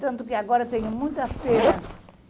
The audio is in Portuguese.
Tanto que agora tenho muita pena.